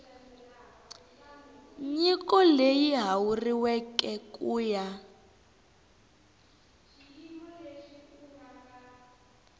nyiko leyi hakeriweke ku ya